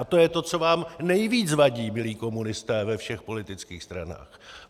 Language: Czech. A to je to, co vám nejvíce vadí, milí komunisté ve všech politických stranách.